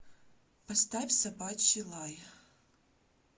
поставь собачий лай